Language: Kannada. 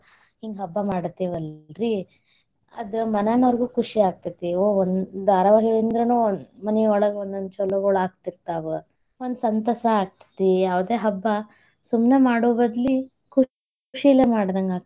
ಹಿಂಗ ಹಬ್ಬಾ ಮಾಡ್ತೇವಲ್ರೀ, ಅದ್ ಮನ್ಯಾನಾರ್ಗೂ ಖುಷಿ ಆಗ್ತೇತಿ. ಓ~ ಒಂದ್ ಧಾರಾವಾಹಿ ಇಂದ್ರಾನೂ ಮನಿಯೊಳಗ ಒಂದೋಂದ್ ಛಲೋಗೋಳ ಆಗ್ತಿರ್ತಾವ್. ಒಂದ್ ಸಂತಸ ಆಗ್ತೇತಿ. ಯಾವುದೇ ಹಬ್ಬಾ ಸುಮ್ನ ಮಾಡೋ ಬದ್ಲಿ ಖುಷಿಲೇ ಮಾಡ್ದಂಗ.